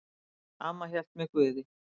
Amma hélt með Guði.